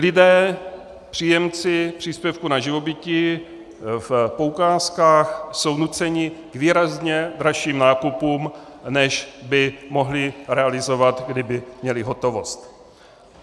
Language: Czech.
Lidé, příjemci příspěvku na živobytí v poukázkách, jsou nuceni k výrazně dražším nákupům, než by mohli realizovat, kdyby měli hotovost.